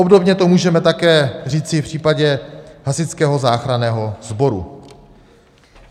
Obdobně to můžeme také říci v případě Hasičského záchranného sboru.